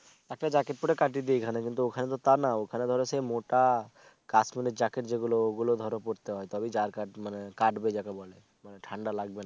একটা জ্যাকেট পরে কাটিয়ে দি এখানে ওখানে তো তা না ওখানে ধরো মোটা কাছুনের জ্যাকেট যে গুলো ওগুলো ধরো পরতে হয় তবে যার কাটবে যাকে বলে ঠাণ্ডা লাগবে না